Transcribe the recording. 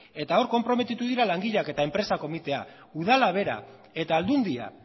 eta hor konprometitu dira langileak eta enpresa komitea udala bera eta aldundia